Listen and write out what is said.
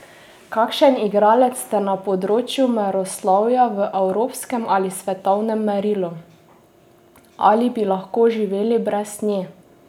Kakšen igralec ste na področju meroslovja v evropskem ali svetovnem merilu?